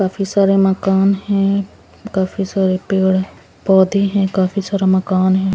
काफी सारे मकान हैं काफी सारे पेड़ पौधे हैं काफी सारा मकान है.